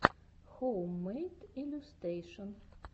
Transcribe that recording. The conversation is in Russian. хоуммэйд иллюстэйшн